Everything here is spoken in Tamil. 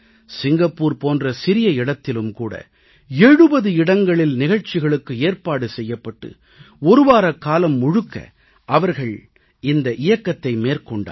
சிங்கப்பூர் போன்ற சிறிய இடத்திலும் கூட 70 இடங்களில் நிகழ்ச்சிகளுக்கு ஏற்பாடு செய்யப்பட்டு ஒருவாரக்காலம் முழுக்க அவர்கள் இந்த இயக்கத்தை மேற்கொண்டார்கள்